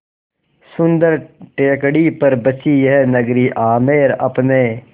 सुन्दर टेकड़ी पर बसी यह नगरी आमेर अपने